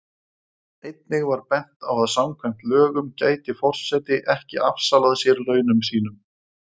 Einnig var bent á að samkvæmt lögum gæti forseti ekki afsalað sér launum sínum.